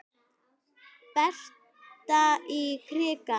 Berta í krikann?